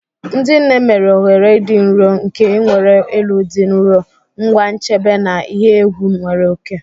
Ndị nne mere oghere dị nro nke nwere elu dị nro, ngwa nchebe na ihe egwu nwere oke.